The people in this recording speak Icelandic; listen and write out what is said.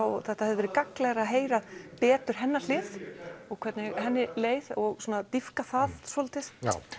þetta hefði verið gagnlegra að heyra betur hennar hlið og hvernig henni leið og dýpka það svolítið